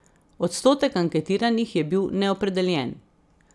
Odstotek anketiranih je bil neopredeljen.